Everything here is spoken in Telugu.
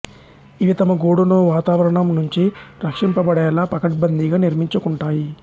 ఇవి తమ గూడును వాతావరణం నుంచి రక్షింపబడేలా పకడ్బందీగా నిర్మించుకుంటాయి